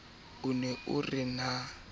o ne o re na